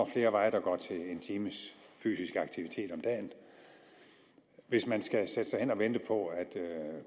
flere veje der går til en times fysisk aktivitet om dagen hvis man skal sætte sig hen for at vente på at